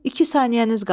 İki saniyəniz qalıb.